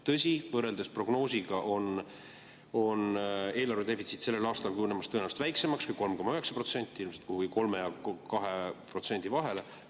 Tõsi, võrreldes prognoosiga on eelarvedefitsiit sellel aastal kujunemas tõenäoliselt väiksemaks kui 3,9%, kuhugi 2% ja 3% vahele.